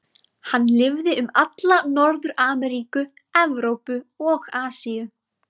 Hann lifði um alla Norður-Ameríku, Evrópu og Asíu.